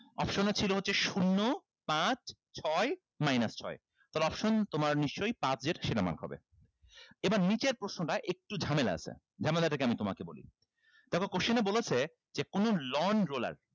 option এ ছিল হচ্ছে শূন্য পাঁচ ছয় minus ছয় তাহলে option তোমার নিশ্চয়ই পাঁচ যেটা সেটা mark হবে এবার নিচের প্রশ্নটা একটু ঝামেলা আছে ঝামেলাটা কি আমি তোমাকে বলি দেখো question এ বলেছে যে কোনো lawn roller